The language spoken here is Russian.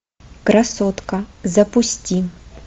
красотка запусти